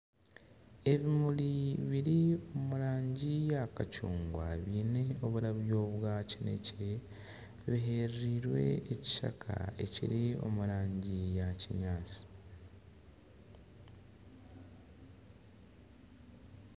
Ebimuri biri omu rangi ya kacungwa byine oburyabyo bwa kinekye buherereine ekishaka ekiri omu rangi ya kinyaatsi.